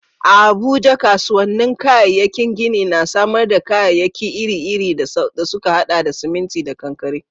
A Abuja, kasuwannin kayayyakin gini na samar da kayayyaki iri-iri da suka haɗa da siminti da kankare.